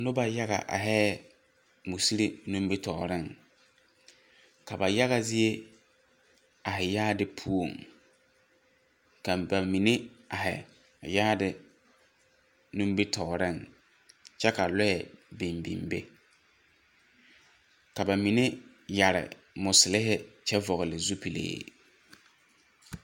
Noba yaga ahɛɛ musiri nimbitɔɔreŋ. Ka ba yaga zie ahe yaade puoŋ, ka ba mine ahe a yaade nimbitɔɔreŋ kyɛ ka lɔɛ biŋ biŋ be, ka ba mine yare moselhe kyɛ vɔgle zupilhe.